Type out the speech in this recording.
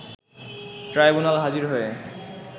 tribunal হাজির হয়ে